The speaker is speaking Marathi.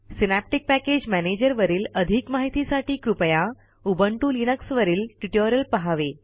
सिनॅप्टिक पॅकेज मॅनेजर वरील अधिक माहितीसाठी कृपया उबंटु लिनक्सवरील ट्युटोरियल पहावे